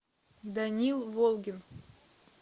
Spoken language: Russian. данил волгин